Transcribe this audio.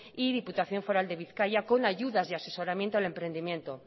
y diputación foral de bizkaia con ayudas y asesoramiento al emprendimiento